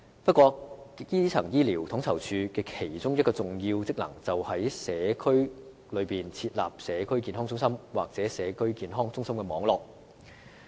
不過，基層醫療統籌處的其中一項重要職能，便是在社區設立社區健康中心或社區健康中心網絡。